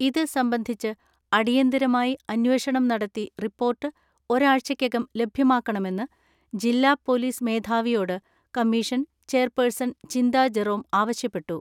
ഇത് സംബന്ധിച്ച് അടിയന്തരമായി അന്വേഷണം നടത്തി റിപ്പോർട്ട് ഒരാഴ്ചക്കകം ലഭ്യമാക്കണമെന്ന് ജില്ലാ പൊലീസ് മേധാവിയോട് കമ്മീഷൻ ചെയർപേഴ്സൺ ചിന്താജെറോം ആവശ്യപ്പെട്ടു.